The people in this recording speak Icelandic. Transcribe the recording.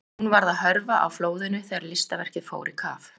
En hún varð að hörfa á flóðinu þegar listaverkið fór í kaf.